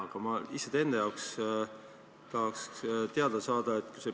Aga ma lihtsalt enda jaoks tahaks teavet järgmise asja kohta.